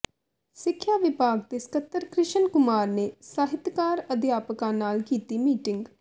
ਸਿੱਖਿਆ ਵਿਭਾਗ ਦੇ ਸਕੱਤਰ ਕ੍ਰਿਸ਼ਨ ਕੁਮਾਰ ਨੇ ਸਾਹਿਤਕਾਰ ਅਧਿਆਪਕਾਂ ਨਾਲ ਕੀਤੀ ਮੀਟਿੰਗ